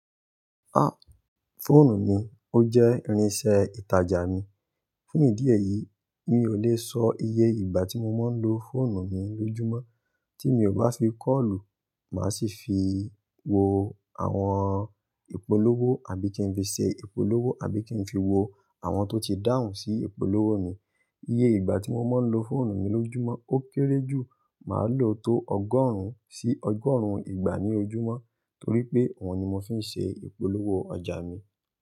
Ah! Fóònù mi ó jẹ́ irinsẹ́ ìtajà mi. Fún ìdí èyí, mi ò lè sọ iye ìgbà tí mo máa ń lo fóònù mi lójúmọ́. Tí mi ò bá fi kọ́olu, màá sì fi wo àwọn ìpolówó àbí kí n fi ṣe ìpolówó àbí kí n fi wo àwọn tó ti dáhùn sí ìpolówó mi. Iye ìgbà tí mo máa ń lo fóònù mi lójúmọ́ ó kéré jù, màá lò ó tó ọgọ́rùn-ún sí ọgọ́rùn-ún ìgbà ní ojúmọ́ torí pé òun ni mo fi ń ṣe ìpolówó ọjà mi.